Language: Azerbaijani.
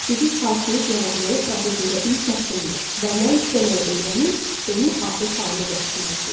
Sizin xahişiniz yaradıcılıq prosesində ilk addımdır və nə istəməyi öyrənib onu adət halına gətirməlisiniz.